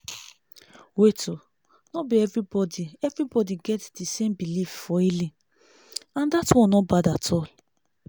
wait oono be everybody everybody get di same belief for healing and dat one no bad at all.